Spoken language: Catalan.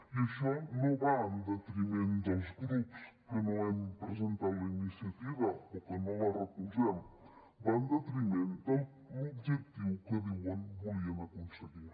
i això no va en detriment dels grups que no hem presentat la iniciativa o que no la recolzem va en detriment de l’objectiu que diuen que volien aconseguir